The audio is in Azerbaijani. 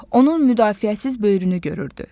onun müdafiəsiz böyrünü görürdü.